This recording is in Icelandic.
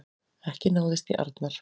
Ekki náðist í Arnar